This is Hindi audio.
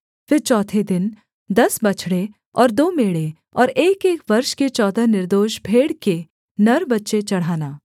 फिर चौथे दिन दस बछड़े और दो मेढ़े और एकएक वर्ष के चौदह निर्दोष भेड़ के नर बच्चे चढ़ाना